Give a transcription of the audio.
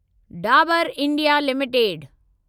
Dabur India limited